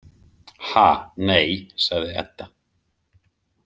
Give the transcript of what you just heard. Ha, nei, sagði Edda.